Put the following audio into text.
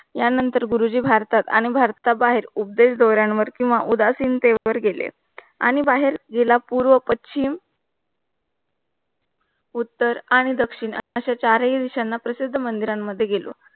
या नंतर गुरुजी भारतात आणि भारत बाहेर उपदेश दोहऱ्यांवर किंवा उदासीनते वर गेले आणि बाहेर जिल्हा पूर्व, पश्चिम, उत्तर आणि दक्षिण अशा चार हि दिशांना प्रसिद्ध मंदिर मध्ये गेलो.